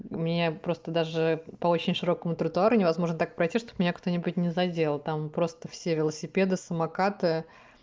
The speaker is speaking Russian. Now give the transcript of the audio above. у меня просто даже по очень широкому тротуару невозможно так пройти чтобы меня кто-нибудь не задел там просто все велосипеды самокаты